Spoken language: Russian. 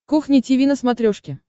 кухня тиви на смотрешке